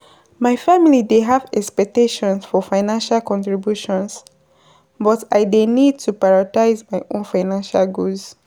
My family dey have expectations for financial contributions, but I dey need to prioritize my own financial goals.